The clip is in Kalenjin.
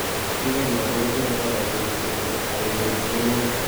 Kingait notok kotere virus kochut borto ak kenyor mianwogik.